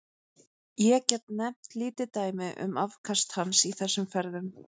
Ég get nefnt lítið dæmi um afköst hans í þessum ferðum.